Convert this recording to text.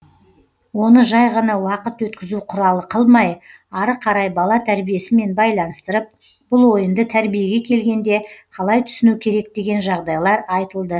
оны жай ғана уақыт өткізу құралы қылмай ары қарай бала тәрбиесімен байланыстырып бұл ойынды тәрбиеге келгенде қалай түсіну керек деген жағдайлар айтылды